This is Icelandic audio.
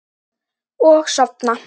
Og sofna.